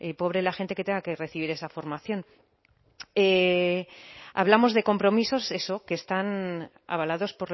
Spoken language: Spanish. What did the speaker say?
pobre la gente que tenga que recibir esa formación hablamos de compromisos eso que están avalados